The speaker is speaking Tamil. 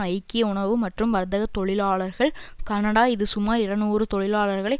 ஐக்கிய உணவு மற்றும் வர்த்தக தொழிலாளர்கள் கனடா இது சுமார் இருநூறு தொழிலாளர்களை